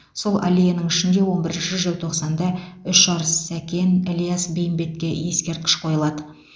сол аллеяның ішінде он бірінші желтоқсанда үш арыс сәкен ілияс бейімбетке ескерткіш қойылады